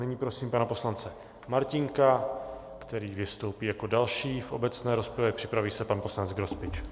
Nyní prosím pana poslance Martínka, který vystoupí jako další v obecné rozpravě, připraví se pan poslanec Grospič.